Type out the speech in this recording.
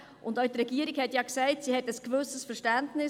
Auch die Regierung hat gesagt, sie habe ein gewisses Verständnis.